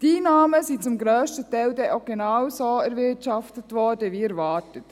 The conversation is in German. Die Einnahmen wurden dann auch zum grössten Teil genau so erwirtschaftet wie erwartet.